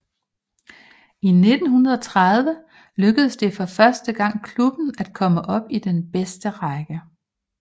I 1930 lykkedes det for første gang klubben at komme op i den bedste række